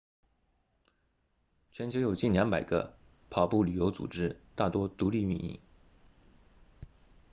全球有近200个跑步旅游组织大多独立运营